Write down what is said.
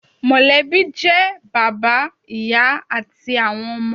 Mọ̀lẹ́bí jẹ́ bàbá, ìyá àti àwọn ọmọ